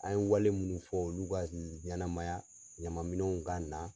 An ye wale minnu fɔ olu ka ɲɛnamaya ɲaman minɛn ka na.